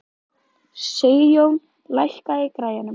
Sigjón, lækkaðu í græjunum.